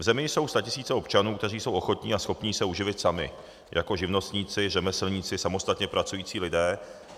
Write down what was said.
V zemi jsou statisíce občanů, kteří jsou ochotni a schopni se uživit sami jako živnostníci, řemeslníci, samostatně pracující lidé.